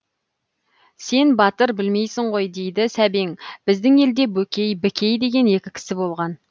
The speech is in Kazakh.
сен батыр білмейсің ғой дейді сәбең біздің елде бөкей бікей деген екі кісі болған